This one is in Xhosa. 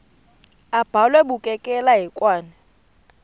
abhalwe bukekela hekwane